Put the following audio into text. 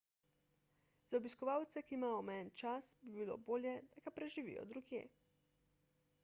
za obiskovalce ki imajo omejen čas bi bilo bolje da ga preživijo drugje